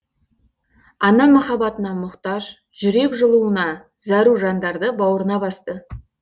ана махаббатына мұқтаж жүрек жылуына зәру жандарды бауырына басты